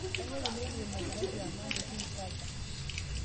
kanyoo peyie kiimakatia kiama ang' tekinshaza